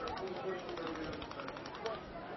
о таком точно должны написать